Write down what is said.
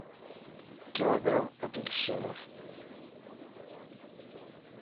килограмм апельсинов